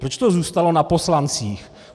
Proč to zůstalo na poslancích?